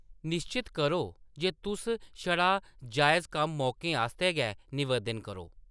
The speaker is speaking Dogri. निश्चत करो जे तुस छड़ा जायज़ कम्म मौकें आस्तै गै नवेदन करो।